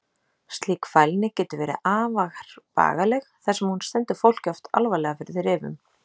Slík fælni getur verið afar bagaleg þar sem hún stendur fólki oft alvarlega fyrir þrifum.